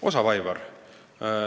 Osav, Aivar!